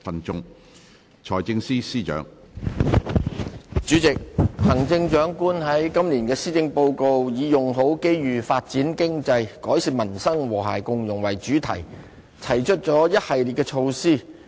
主席，行政長官在今年的施政報告以"用好機遇發展經濟改善民生和諧共融"為主題，提出了一系列的措施。